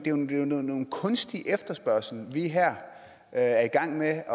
kunstig efterspørgsel vi her er i gang med at